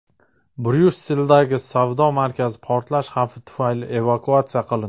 Bryusseldagi savdo markazi portlash xavfi tufayli evakuatsiya qilindi.